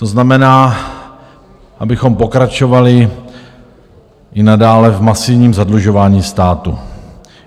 To znamená, abychom pokračovali i nadále v masivním zadlužování státu.